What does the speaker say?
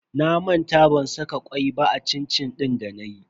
Na manta ban saka kwai ba a cin-cin din danayi.